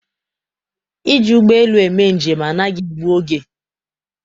Iji ụgbọelu eme njem anaghị egbu oge.